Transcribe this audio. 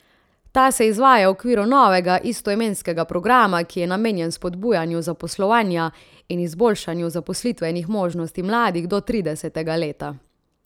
Ta se izvaja v okviru novega, istoimenskega programa, ki je namenjen spodbujanju zaposlovanja in izboljšanju zaposlitvenih možnosti mladih do tridesetega leta.